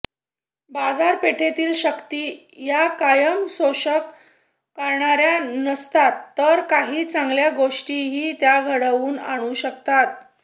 बाजापेठेतील शक्ती या कायम शोषण करणाऱ्या नसतात तर काही चांगल्या गोष्टीही त्या घडवून आणू शकतात